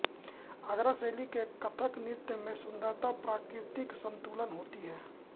आगरा शैली के कथक नृत्य में सुंदरता प्राकृतिक संतुलन होती है